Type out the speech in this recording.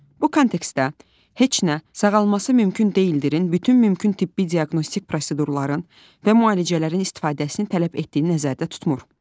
Bu kontekstdə heç nə sağalması mümkün deyildirin bütün mümkün tibbi diaqnostik prosedurların və müalicələrin istifadəsini nəzərdə tutmur.